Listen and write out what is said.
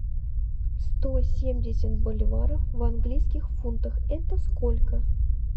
сто семьдесят боливаров в английских фунтах это сколько